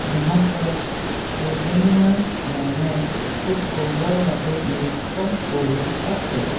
সিহঁতক কেইজনীমান মেমে খুব সুন্দৰভাৱে নিৰীক্ষণ কৰি আছে।